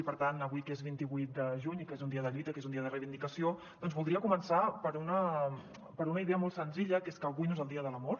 i per tant avui que és vint vuit de juny i que és un dia de lluita que és un dia de reivindicació doncs voldria començar per una idea molt senzilla que és que avui no és el dia de l’amor